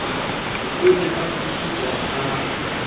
o ne a setotswa a